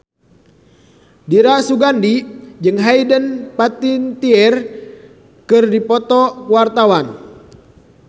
Dira Sugandi jeung Hayden Panettiere keur dipoto ku wartawan